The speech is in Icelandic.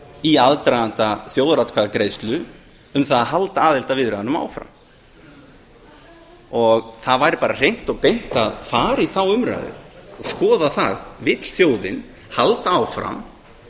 í aðdraganda þjóðaratkvæðagreiðslu um það að halda aðildarviðræðunum áfram það væri bara hreint og beint að fara í þá umræðu og skoða það vill þjóðin halda áfram